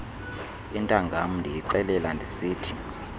intangam ndiyixelela ndisithi